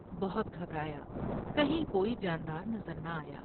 بہت گھبرایا کہیں کوئی جان دار نظر نہ آیا ۔